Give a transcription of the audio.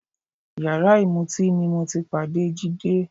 Yàrá ìmutíì ni mo ti pàdé Jídé